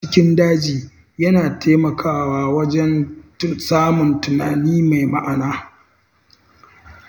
Tafiya a cikin daji yana taimakawa wajen samun tunani mai ma’ana.